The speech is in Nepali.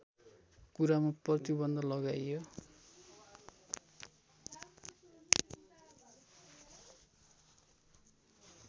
कुरामा प्रतिबन्ध लगाइयो